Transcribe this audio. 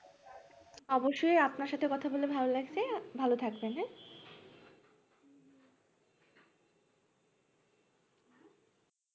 অবশ্যই আপনার সাথে কথা বলে ভালো লাগছে ভালো থাকবেন হ্যাঁ